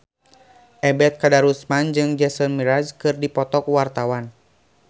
Ebet Kadarusman jeung Jason Mraz keur dipoto ku wartawan